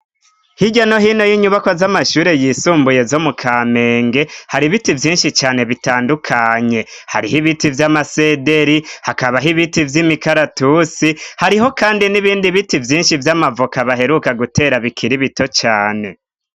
Hirya no hino y'inyubako z'amashure yisumbuye zo mu kamenge hari biti vyinshi cane bitandukanye hariho ibiti vy'amasederi hakabaho ibiti vy'imikaratusi hariho kandi n'ibindi biti vyinshi vy'amavoka baheruka gutera bikiri bito cane.